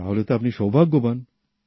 তাহলে তো আপনি সৌভাগ্যবান